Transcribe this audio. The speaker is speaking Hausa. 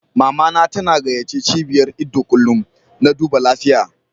Mama na ta na gayace cibiyar ido kullum na duba lafiya.